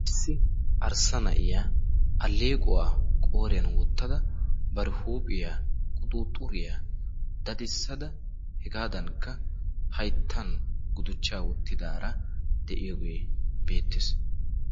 issi arssa na7iya aleequwaa qooriyan wottada bari huuphiyaa quxuuxxuriyaa dadissada hegaadankka hayttan guduchchaa wottidaara de7iyoogee beettees.